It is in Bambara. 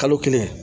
Kalo kelen